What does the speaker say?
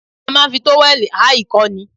A máa ń fi tówẹ̀lì há ìkọ́ ni